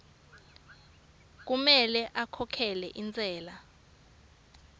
kumele akhokhe intsela